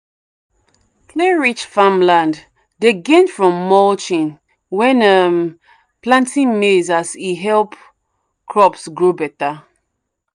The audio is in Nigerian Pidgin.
clay-rich farmland dey gain from mulching when um planting maize as e help crops grow better.